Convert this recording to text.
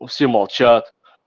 все молчат